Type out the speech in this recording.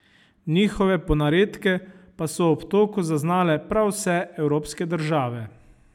Njihove ponaredke pa so v obtoku zaznale prav vse evropske države.